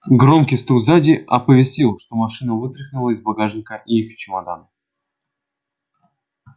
громкий стук сзади оповестил что машина вытряхнула из багажника и их чемоданы